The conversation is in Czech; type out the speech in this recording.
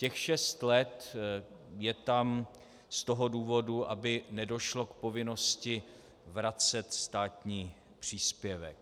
Těch šest let je tam z toho důvodu, aby nedošlo k povinnosti vracet státní příspěvek.